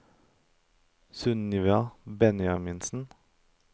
Sunniva Benjaminsen